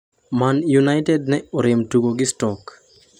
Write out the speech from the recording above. Man United ne orem tugo gi Stoke